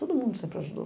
Todo mundo sempre ajudou.